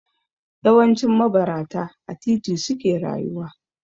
Yawancin mabarata a titi suke rayuwa.